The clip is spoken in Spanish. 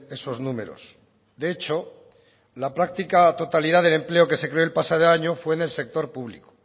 esos números de hecho la práctica totalidad del empleo que se creó el pasado año fue en el sector público